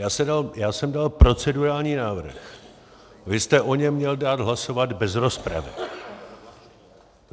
Já jsem dal procedurální návrh, vy jste o něm měl dát hlasovat bez rozpravy.